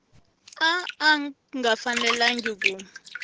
a a nga fanelangi ku